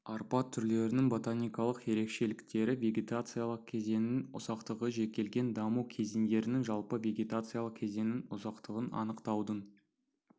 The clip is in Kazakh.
арпа түрлерінің ботаникалық ерекшеліктері вегетациялық кезеңнің ұзақтығы жекелген даму кезеңдерінің жалпы вегетациялық кезеңнің ұзақтығын анықтаудың